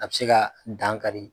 A bɛ se kaa dan kari